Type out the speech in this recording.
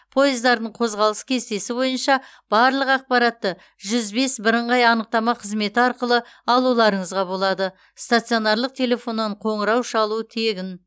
пойыздардың қозғалыс кестесі бойынша барлық ақпаратты жүз бес бірыңғай анықтама қызметі арқылы алуларыңызға болады стационарлық телефоннан қоңырау шалу тегін